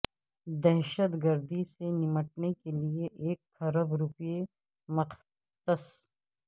دہشت گردی سے نمٹنے کے لیے ایک کھرب روپے مختص